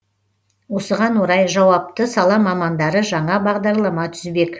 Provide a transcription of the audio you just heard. осыған орай жауапты сала мамандары жаңа бағдарлама түзбек